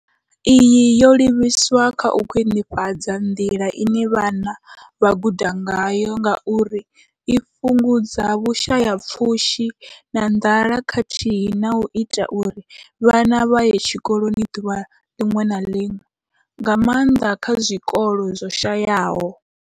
Iyi yo livhiswa kha u khwinifhadza nḓila ine vhana vha guda ngayo ngauri i fhungudza vhushayapfushi na nḓala khathihi na u ita uri vhana vha ye tshikoloni ḓuvha ḽiṅwe na ḽiṅwe, nga maanḓa kha zwikolo zwo shayaho.